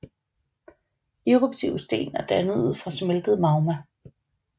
Eruptive sten er dannet ud fra smeltet magma